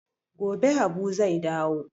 Gobe habu zai dawo